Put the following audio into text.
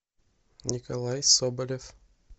николай соболев